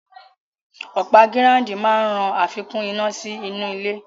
Ọ̀pá gíráúndìn máa ràn àfikún iná sí inú ilẹ̀